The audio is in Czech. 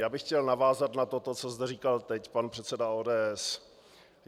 Já bych chtěl navázat na toto, co zde říkal teď pan předseda ODS.